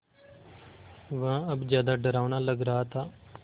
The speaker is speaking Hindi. वह अब ज़्यादा डरावना लग रहा था